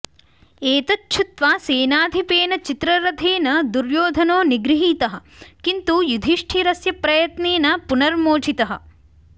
एतच्छुत्वा सेनाधिपेन चित्ररथेन दुर्योधनो निगृहीतः किन्तु युधिष्ठिरस्य प्रयत्नेन पुनर्मोचितः